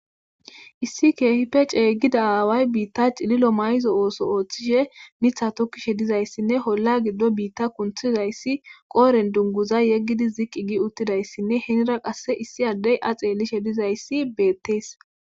issi kehippe cegida aaway biitta cililo mayzo ooso ooththishe mitha tokkishe dizayssinne olla giddon biitta kunthizayssi qooren dunguza yeggidi ziqqi gi uttidayssinne henira qasse issi addey a xeelishe dizayssi beettees